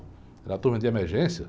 Era turma de emergência.